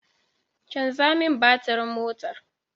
Canza min batirin motar